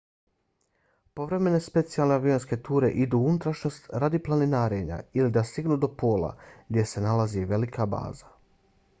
povremene specijalne avionske ture idu u unutrašnjost radi planinarenja ili da stignu do pola gdje se nalazi velika baza